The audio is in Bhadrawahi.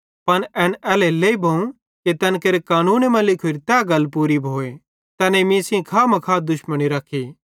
पन एन एल्हेरेलेइ भोवं कि तैन केरे पवित्रशास्त्रे मां लिखोरी तै गल पूरी भोए तैनेईं मीं सेइं खामखा दुश्मनी रखी